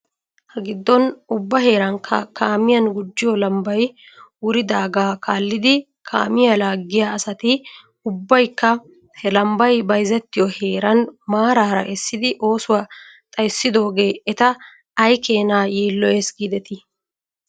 Hagiddon ubba heerankka kaamiyan gujjiyoo lambbay wuridaagaa kaallidi kaamiyaa laaggiyaa asati ubbaykka he lambbay bayzettiyoo heeran maaraara essidi oosuwaa xayssidoogee eta aykeenaa yiiloyes giidetii!